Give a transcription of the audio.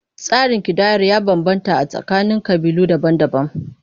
Tsarin kidayar ya bambanta a tsakanin ƙabilu daban-daban.